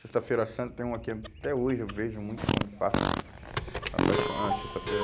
Sexta-feira santa tem uma que até hoje eu vejo muito quando passa na, a paixão, a sexta-feira.